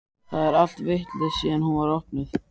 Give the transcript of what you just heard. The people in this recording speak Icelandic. Það er allt vitlaust síðan hún var opnuð.